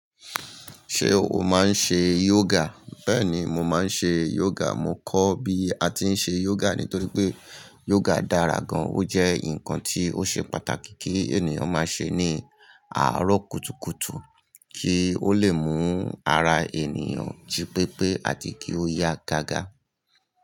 Ṣé o máa ń ṣe yoga? Bẹ́ẹ̀ni, mo máa ń ṣe yoga. Mo kọ́ bí a ti ń ṣe yoga nítorí pé yoga dára gan. Ó jẹ́ nǹkan tí ó ṣe pàtàkì kí ènìyàn máa ṣe ní àárọ̀ kùtùkùtù kí ó lè mú ara ènìyàn jí pépé àti kí ó yá gágá.